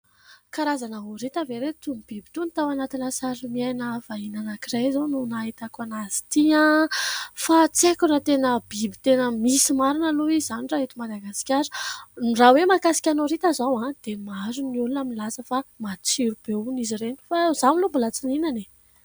Karazana horita ve ry ireo itony biby itony, tao anatina sari-miaina vahiny anankiray izao no nahitako an'azy ity fa tsy aiko na tena biby tena misy marina aloha izany raha eto Madagasikara. Raha hoe mahakasika ny horita izao dia maro ny olona milaza fa matsiro be hono izy ireny fa izaho aloha mbola tsy nihinana e !